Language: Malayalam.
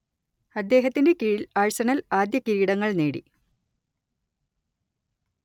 അദ്ദേഹത്തിന്റെ കീഴിൽ ആഴ്സണൽ ആദ്യ കിരീടങ്ങൾ നേടി